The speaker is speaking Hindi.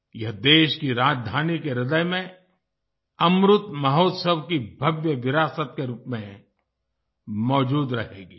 यह देश की राजधानी के हृदय में अमृत महोत्सव की भव्य विरासत के रूप में मौजूद रहेगी